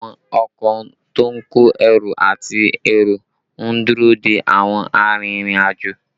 Àwọn ọkọ to ń kó ẹrù àti èrò ń dúró dé àwọn arìnrìn-àjò